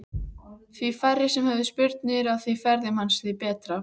Því færri sem höfðu spurnir af ferðum hans því betra.